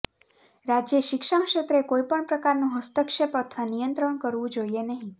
રાજ્યે શિક્ષણક્ષેત્રે કોઈ પણ પ્રકારનો હસ્તક્ષેપ અથવા નિયંત્રણ કરવું જોઈએ નહીં